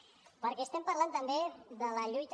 perquè estem parlant també de la lluita